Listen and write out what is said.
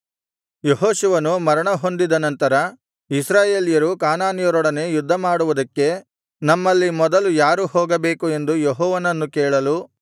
ಯೆಹೋಶುವನು ಮರಣಹೊಂದಿದ ನಂತರ ಇಸ್ರಾಯೇಲ್ಯರು ಕಾನಾನ್ಯರೊಡನೆ ಯುದ್ಧಮಾಡುವುದಕ್ಕೆ ನಮ್ಮಲ್ಲಿ ಮೊದಲು ಯಾರು ಹೋಗಬೇಕು ಎಂದು ಯೆಹೋವನನ್ನು ಕೇಳಲು